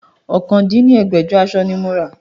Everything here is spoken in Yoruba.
ọ̀kan dín ní ẹgbẹ́jọ aṣọ ni mo rà